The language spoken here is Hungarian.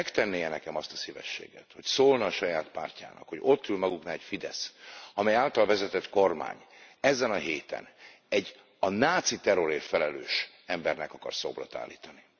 Megtenné e nekem azt a szívességet, hogy szólna a saját pártjának, hogy ott ül maguknál a FIDESZ, amely által vezetett kormány ezen a héten egy a náci terrorért felelős embernek akar szobrot állítani?